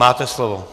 Máte slovo.